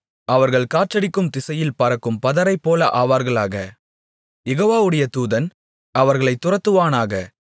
அவர்கள் காற்றடிக்கும் திசையில் பறக்கும் பதரைப்போல ஆவார்களாக யெகோவாவுடைய தூதன் அவர்களைத் துரத்துவானாக